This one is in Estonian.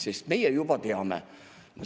Aga meie juba teame.